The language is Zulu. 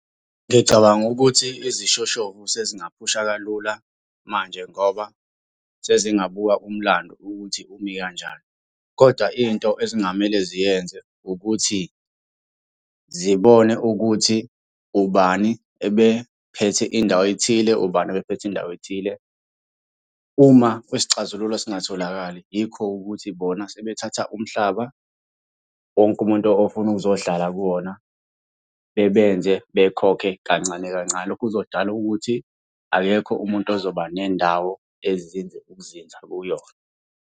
Ngicabanga ukuthi izishoshovu sezingaphusha kalula manje ngoba sezingabuka umlando ukuthi umi kanjani, koda into ezingamele ziyenze ukuthi zibone ukuthi ubani ebephethe indawo ethile, ubani obephethe indawo ethile. Uma kwisicazululo singatholakali yikho ukuthi bona sebethatha umhlaba, wonke umuntu ofuna ukuzohlala kuwona, bebenze bekhokhe kancane kancane. Lokho kuzodala ukuthi akekho umuntu ozoba nendawo ezinze ukuzinza kuyona.